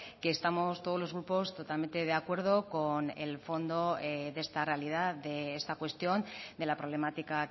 que estamos todos los grupos totalmente de acuerdo con el fondo de esta realidad de esta cuestión de la problemática